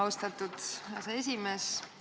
Austatud aseesimees!